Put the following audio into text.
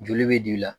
Joli bɛ d'i la